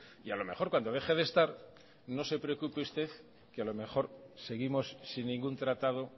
y a lo mejor cuando deje de estar no se preocupe usted que a lo mejor seguimos sin ningún tratado